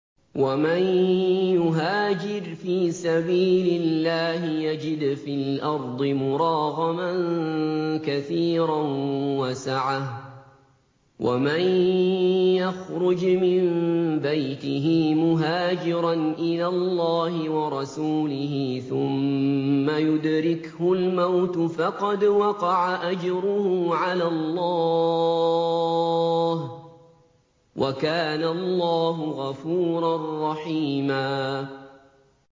۞ وَمَن يُهَاجِرْ فِي سَبِيلِ اللَّهِ يَجِدْ فِي الْأَرْضِ مُرَاغَمًا كَثِيرًا وَسَعَةً ۚ وَمَن يَخْرُجْ مِن بَيْتِهِ مُهَاجِرًا إِلَى اللَّهِ وَرَسُولِهِ ثُمَّ يُدْرِكْهُ الْمَوْتُ فَقَدْ وَقَعَ أَجْرُهُ عَلَى اللَّهِ ۗ وَكَانَ اللَّهُ غَفُورًا رَّحِيمًا